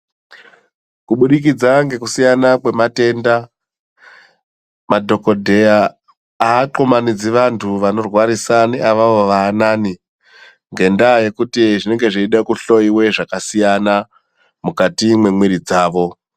Kubudikidza ngekusiyana kwematenda madhokodheya avathumanidzi vantu vanorwa risani avavo vaanani ngendaa yekuti zvinenge zveide kuhloiwe zvakasiyana mukati mwemiri dzawo.